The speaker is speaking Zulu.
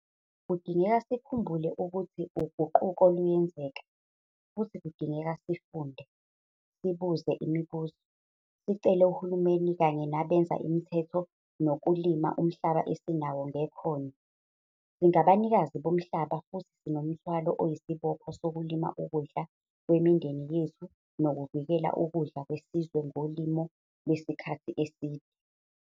Kudingeka sikhumbule ukuthi uguquka luyenzeka, futhi kudingeka sifunde, sibuze imibuzo, sicele uhulumeni kanye nabenza imithetho nokulima umhlaba esinawo ngekhono. Singabanikazi bomhlaba futhi sinomthwalo oyisibopho sokulima ukudla kwemindeni yethu nokuvikela ukudla kwesizwe ngolimo lwesikhathi eside.